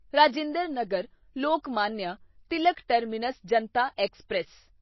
Rajinder Nagar Lokmanya Tilak terminus Janata express